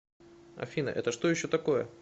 афина это что еще такое